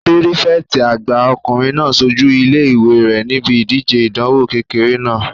Pírífẹ̀tì àgbà ọkùnrin náà sojú ilé-ìwé rẹ̀ níbi ìdíje ìdánwò kékeré náà